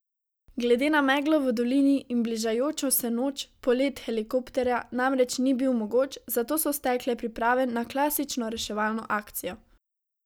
Glede na meglo v dolini in bližajočo se noč polet helikopterja namreč ni bil mogoč, zato so stekle priprave na klasično reševalno akcijo.